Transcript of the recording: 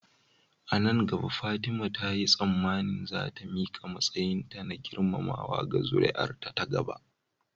A nan gaba Fatima ta yi tsammanin za ta miƙa matsayinta na girmamawa ga zuri'ar ta gaba.